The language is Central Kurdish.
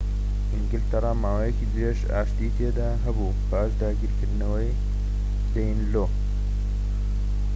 ئینگلتەرا ماوەیەکی درێژ ئاشتی تێدا هەبوو پاش داگیرکردنەوەی دەینلۆ